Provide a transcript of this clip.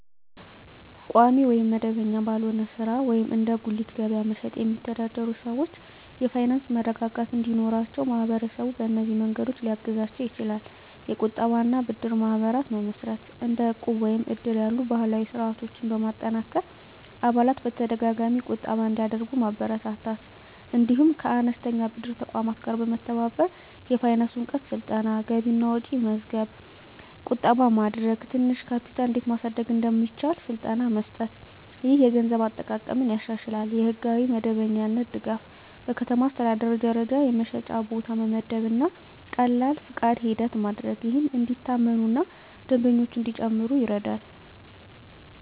ቋሚ ወይም መደበኛ ባልሆነ ሥራ (እንደ በጉሊት ገበያ መሸጥ) የሚተዳደሩ ሰዎች የፋይናንስ መረጋጋት እንዲኖራቸው ማህበረሰቡ በእነዚህ መንገዶች ሊያግዛቸው ይችላል፦ የቁጠባ እና ብድር ማህበራት መመስረት – እንደ ዕቁብ ወይም እድር ያሉ ባህላዊ ስርዓቶችን በማጠናከር አባላት በተደጋጋሚ ቁጠባ እንዲያደርጉ ማበረታታት። እንዲሁም ከአነስተኛ ብድር ተቋማት ጋር መተባበር። የፋይናንስ እውቀት ስልጠና – ገቢና ወጪ መመዝገብ፣ ቁጠባ ማድረግ፣ ትንሽ ካፒታል እንዴት ማሳደግ እንደሚቻል ስልጠና መስጠት። ይህ የገንዘብ አጠቃቀምን ያሻሽላል። የሕጋዊ መደበኛነት ድጋፍ – በከተማ አስተዳደር ደረጃ የመሸጫ ቦታ መመደብ እና ቀላል ፈቃድ ሂደት ማድረግ፣ ይህም እንዲታመኑ እና ደንበኞች እንዲጨምሩ ይረዳል።